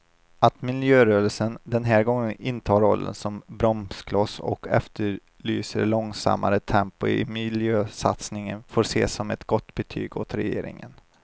Att miljörörelsen den här gången intar rollen som bromskloss och efterlyser långsammare tempo i miljösatsningarna får ses som ett gott betyg åt regeringen.